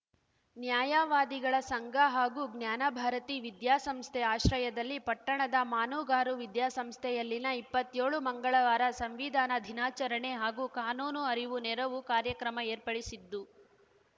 ನ್ಯಾಯವಾದಿಗಳ ಸಂಘ ಹಾಗೂ ಜ್ಞಾನ ಭಾರತೀ ವಿದ್ಯಾ ಸಂಸ್ಥೆ ಆಶ್ರಯದಲ್ಲಿ ಪಟ್ಟಣದ ಮಾನುಗಾರು ವಿದ್ಯಾಸಂಸ್ಥೆಯಲ್ಲಿ ನ ಇಪ್ಪತ್ಯೋಳು ಮಂಗಳವಾರ ಸಂವಿಧಾನ ದಿನಾಚರಣೆ ಹಾಗೂ ಕಾನೂನು ಅರಿವು ನೆರವು ಕಾರ್ಯಕ್ರಮ ಏರ್ಪಡಿಸಿದ್ದು